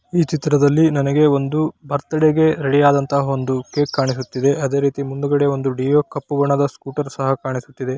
ಈ ಚಿತ್ರದಲ್ಲಿ ನನಗೆ ಒಂದು ಬರ್ತಡೆ ಗೆ ರೆಡಿ ಆದನಂತಹ ಕೇಕ್ ಕಾಣಿಸ್ತಾ ಇದೆ ಅದೇ ರೀತಿ ಮುಂದುಗಡೆ ಒಂದು ಡಿಯೋ ಕಪ್ಪು ಬಣ್ಣದ ಸ್ಕೂಟರ್ ಸಹ ಕಾಣಿಸ್ತಾ ಇದೆ .